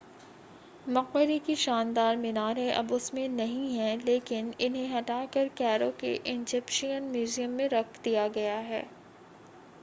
मक़बरे की शानदार मीनारें अब उसमें नहीं हैं लेकिन इन्हें हटाकर कैरो के इज़िप्शियन म्यूज़ियम में रख दिया गया है